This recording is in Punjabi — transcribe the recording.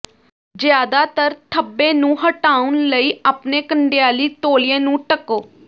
ਜ਼ਿਆਦਾਤਰ ਧੱਬੇ ਨੂੰ ਹਟਾਉਣ ਲਈ ਆਪਣੇ ਕੰਡਿਆਲੀ ਤੌਲੀਏ ਨੂੰ ਢੱਕੋ